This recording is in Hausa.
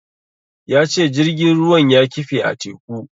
Ya ce jirgin ruwan ya kife a teku.